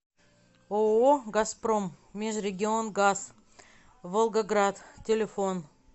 ооо газпром межрегионгаз волгоград телефон